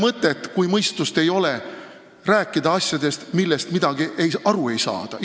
Ja kui mõistust ei ole, ei ole mõtet rääkida asjadest, millest midagi aru ei saada.